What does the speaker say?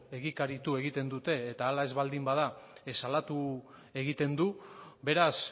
eta egikaritu egiten dute eta hala baldin ez bada salatu egiten du beraz